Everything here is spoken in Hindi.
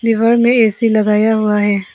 दीवार में ए_सी लगाया हुआ है।